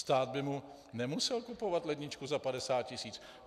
Stát by mu nemusel kupovat ledničku za 50 tisíc!